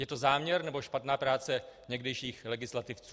Je to záměr, nebo špatná práce někdejších legislativců?